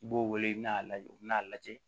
I b'o wele i bɛna'a lajɛ u bɛn'a lajɛ